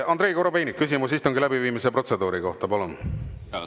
Andrei Korobeinik, küsimus istungi läbiviimise protseduuri kohta, palun!